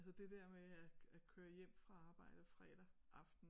Altså det der med at at køre hjem fra arbejde fredag aften